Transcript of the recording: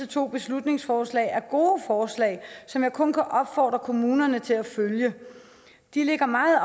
to beslutningsforslag er gode forslag som jeg kun kan opfordre kommunerne til at følge de ligger meget